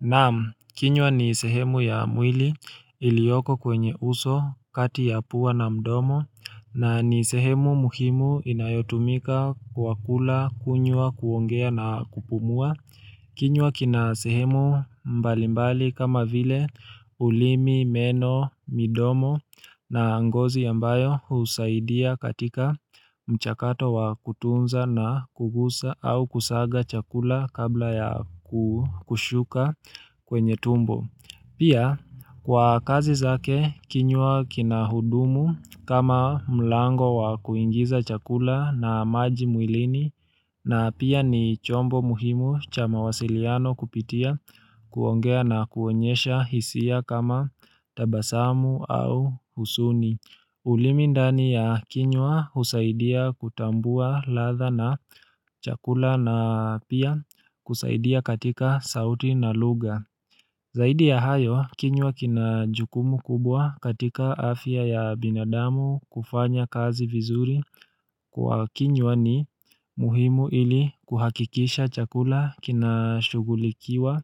Naam, kinywa ni sehemu ya mwili iliyoko kwenye uso kati ya pua na mdomo na ni sehemu muhimu inayotumika kwa kula kunywa kuongea na kupumua. Kinywa kina sehemu mbalimbali kama vile ulimi, meno, midomo na ngozi ambayo husaidia katika mchakato wa kutunza na kugusa au kusaga chakula kabla ya kushuka kwenye tumbo. Pia kwa kazi zake kinywa kina hudumu kama mlango wa kuingiza chakula na maji mwilini na pia ni chombo muhimu cha mawasiliano kupitia kuongea na kuonyesha hisia kama tabasamu au huzuni. Ulimi ndani ya kinywa husaidia kutambua ladha na chakula na pia kusaidia katika sauti na lugha. Zaidi ya hayo, kinywa kina jukumu kubwa katika afya ya binadamu kufanya kazi vizuri kwa kinywa ni muhimu ili kuhakikisha chakula kina shughulikiwa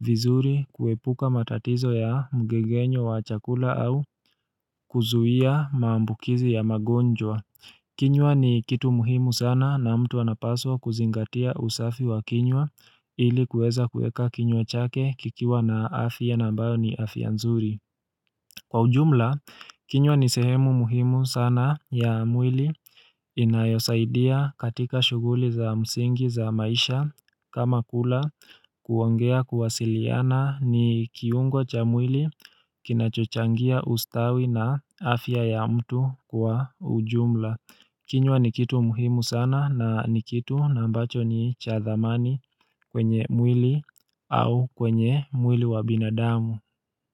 vizuri kuepuka matatizo ya mgegenyo wa chakula au kuzuia maambukizi ya magonjwa. Kinywa ni kitu muhimu sana na mtu anapaswa kuzingatia usafi wa kinywa ili kueza kuweka kinywa chake kikiwa na afya na ambayo ni afya nzuri. Kwa ujumla, kinywa ni sehemu muhimu sana ya mwili inayosaidia katika shughuli za msingi za maisha kama kula kuongea kuwasiliana ni kiungo cha mwili kinachochangia ustawi na afya ya mtu kwa ujumla. Kinywa ni kitu muhimu sana na ni kitu na ambacho ni cha thamani kwenye mwili au kwenye mwili wa binadamu.